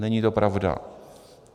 Není to pravda.